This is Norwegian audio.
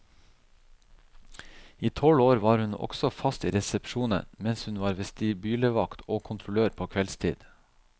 I tolv år var hun også fast i resepsjonen, mens hun var vestibylevakt og kontrollør på kveldstid.